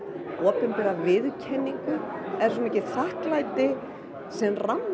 opinbera viðurkenningu er svo mikið þakklæti sem rammar